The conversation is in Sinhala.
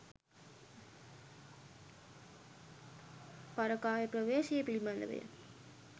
පරකාය ප්‍රවේශය පිළිබඳවය